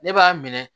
Ne b'a minɛ